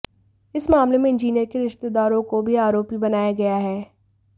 इस मामले में इंजीनियर के रिश्तेदारों को भी आरोपी बनाया गया है